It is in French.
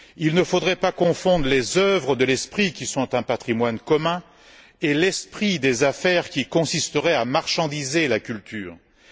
Il ne faudrait pas confondre les œuvres de l'esprit, qui sont un patrimoine commun, et l'esprit des affaires, qui consisterait à transformer la culture en marchandise.